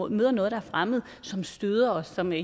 møder noget der er fremmed som støder os som er